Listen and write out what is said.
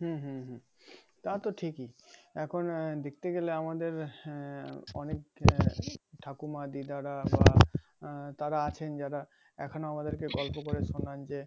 হুম হুম তা তো ঠিকই এখন দেখতে গেলে আমাদের হ্যাঁ অনেক ঠাকুরমা দীদার বা আহ তারা আছেন যারা এখনো আমাদের কে গল্প করে শুনান যে